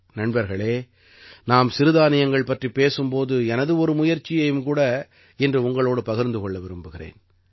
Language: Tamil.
நண்பர்களே நாம் சிறுதானியங்கள் பற்றிப் பேசும் போது எனது ஒரு முயற்சியையும் கூட இன்று உங்களோடு பகிர்ந்து கொள்ள விரும்புகிறேன்